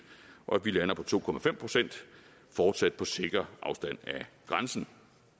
og at vi lander på to procent fortsat på sikker afstand af grænsen